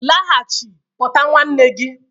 Laghachi pota nwanne gi